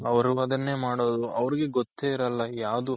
ಅವ್ರು ಅದನ್ನೇ ಮಾಡೋದು ಅವರ್ಗೆ ಗೊತ್ತೇ ಇರಲ್ಲ ಯಾವ್ದು